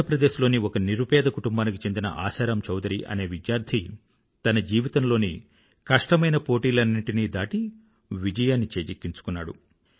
మధ్యప్రదేశ్ లోని ఒక నిరుపేద కుటుంబానికి చెందిన ఆశారామ్ చౌదరి అనే విద్యార్థి తన జీవితంలోని కష్టమైన పోటీలన్నింటినీ దాటి విజయాన్ని చేజిక్కించుకున్నాడు